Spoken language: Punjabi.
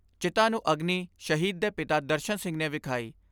ਚਿਖਾ ਨੂੰ ਅਗਨੀ ਸ਼ਹੀਦ ਦੇ ਪਿਤਾ ਦਰਸ਼ਨ ਸਿੰਘ ਨੇ ਵਿਖਾਈ।